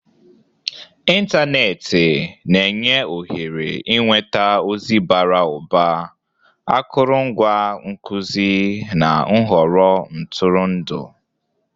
Ịntanetị na-enye ohere ịnweta ozi bara ụba, akụrụngwa nkuzi, na nhọrọ ntụrụndụ.